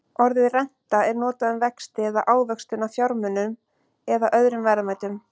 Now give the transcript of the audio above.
Orðið renta er notað um vexti eða ávöxtun á fjármunum eða öðrum verðmætum.